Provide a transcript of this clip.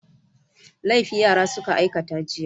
Laifi yara suka aikata jiya.